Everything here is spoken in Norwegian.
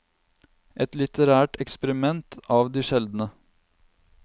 Et litterært eksperiment av de sjeldne.